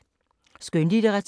Skønlitteratur